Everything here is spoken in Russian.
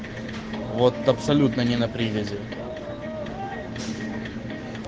вот абсолютно не на привязи